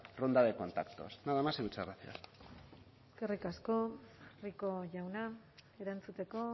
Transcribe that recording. ronda de contactos nada más y muchas gracias eskerrik asko rico jauna erantzuteko